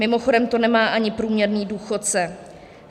Mimochodem to nemá ani průměrný důchodce.